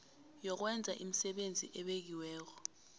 yokwenza imisebenzi ebekiweko